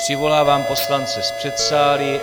Přivolávám poslance z předsálí.